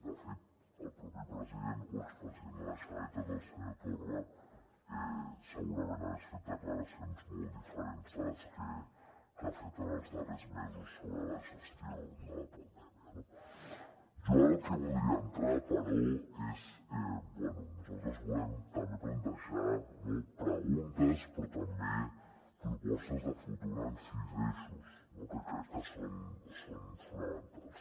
de fet el propi president o expresident de la generalitat el senyor torra segurament hagués fet declaracions molt diferents de les que ha fet en els darrers mesos sobre la gestió de la pandèmia no jo ara en el que voldria entrar però és bé nosaltres volem també plantejar no preguntes però també propostes de futur en sis eixos que crec que són fonamentals